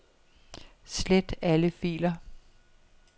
Slet alle filer.